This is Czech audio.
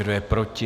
Kdo je proti?